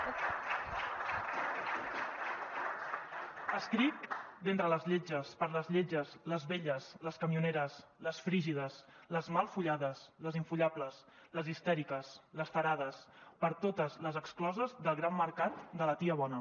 escric d’entre les lletges per a les lletges les velles les camioneres les frígides les mal follades les infollables les histèriques les tarades per a totes les excloses del gran mercat de la tia bona